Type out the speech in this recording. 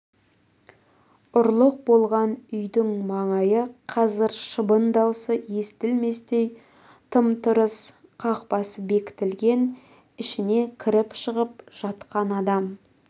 ұрлық болған үйдің маңайы қазір шыбын даусы естілместей тым-тырыс қақпасы берік бекітілген ішіне кіріп-шығып жатқан адам